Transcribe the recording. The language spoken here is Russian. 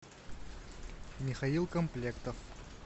михаил комплектов